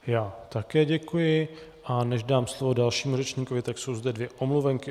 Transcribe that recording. Já také děkuji, a než dám slovo dalšímu řečníkovi, tak jsou zde dvě omluvenky.